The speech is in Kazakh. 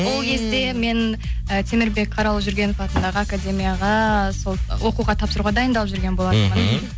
ол кезде мен і темірбек қараұлы жүргенов атындағы академияға сол оқуға тапсыруға дайындалып жүрген болатынмын мхм